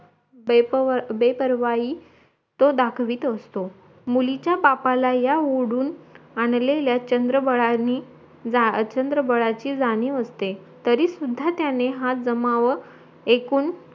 बेप बेपरवाही तो दाखवीत असतो मुलीचा बापाला या ओडून आणलेला चंद्र बळानी चंद्र बळाची जाणीव असते तरीसुद्धा त्यांने हा जमाव एकूण